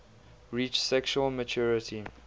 reach sexual maturity